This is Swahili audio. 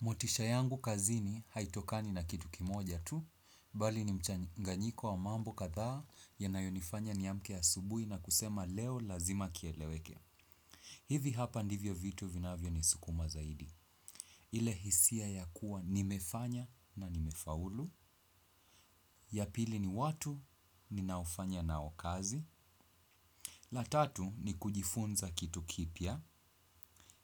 Motisha yangu kazini haitokani na kitu kimoja tu, bali ni mchanganyiko wa mambo kadhaa yanayonifanya niamke asubuhi na kusema leo lazima kieleweke. Hivi hapa ndivyo vitu vinavyo ni sukuma zaidi. Ile hisia ya kuwa nimefanya na nimefaulu. Yapili ni watu ninaofanya nao kazi. La tatu ni kujifunza kitu kipya.